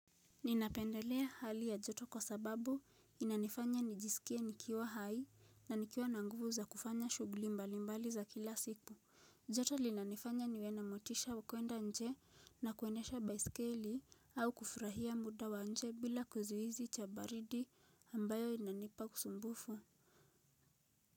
Ninapendelea hali ya joto kwa sababu inanifanya nijisikie nikiwa hai na nikiwa na nguvu za kufanya shugli mbalimbali za kila siku. Joto linanifanya niwe na motisha wa kuenda nje na kuendesha baiskeli au kufurahia muda wa nje bila kuzuizi cha baridi ambayo inanipa kusumbufu.